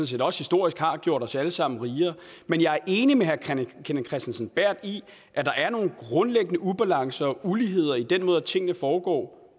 set også historisk har gjort os alle sammen rigere men jeg er enig med herre kenneth kristensen berth i at der er nogle grundlæggende ubalancer og uligheder i den måde tingene foregår